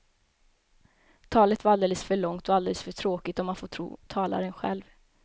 Talet var alldeles för långt och alldeles för tråkigt om man får tro talaren själv.